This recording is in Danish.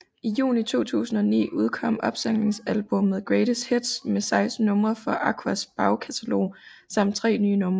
I juni 2009 udkom opsamlingsalbummet Greatest Hits med 16 numre fra Aquas bagkatalog samt tre nye numre